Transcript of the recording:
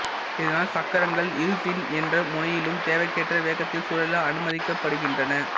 இதனால் சக்கரங்கள் இருசின் எந்த முனையிலும் தேவைக்கேற்ற வேகத்தில் சுழல அனுமதிக்கப்படுகின்றன